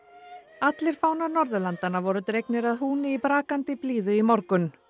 allir fánar Norðurlandanna voru dregnir að húni í brakandi blíðu í morgun